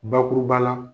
Bakuruba la